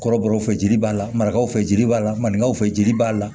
Kɔrɔbɔrɔw fɛ jeli b'a la marakaw fɛ jeli b'a la maninkaw fɛ jeli b'a la